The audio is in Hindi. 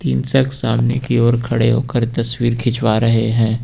इंसान सामने की ओर खड़े होकर तस्वीर खींचवा रहे हैं।